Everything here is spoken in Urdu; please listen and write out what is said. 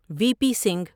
وی پی سنگھ